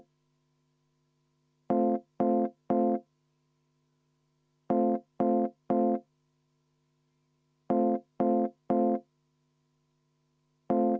Inimlikke eksitusi ikka juhtub, pole hullu.